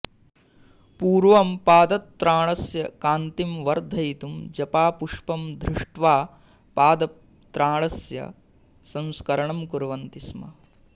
पूर्वं पादत्राणस्य कान्तिं वर्धयितुं जपापुष्पं धृष्ट्वा पादत्राणस्य संस्करणं कुर्वन्ति स्म